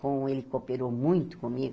Como ele cooperou muito comigo,